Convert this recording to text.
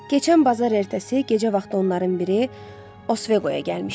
Keçən bazar ertəsi gecə vaxtı onların biri Osveqoya gəlmişdi.